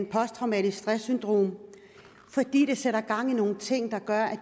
posttraumatisk stress syndrom fordi det sætter gang i nogle ting der gør at